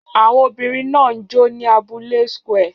Àwọn obìnrin náà ń jó ní abúlé square